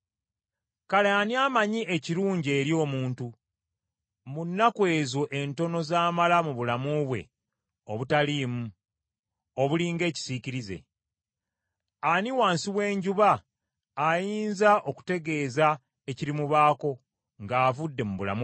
Kale ani amanyi ekirungi eri omuntu, mu nnaku ezo entono z’amala mu bulamu bwe obutaliimu, obuli ng’ekisiikirize? Ani wansi w’enjuba ayinza okutegeeza ekirimubaako ng’avudde mu bulamu buno?